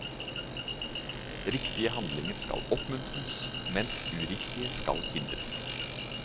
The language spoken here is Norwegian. Riktige handlinger skal oppmuntres, mens uriktige skal hindres.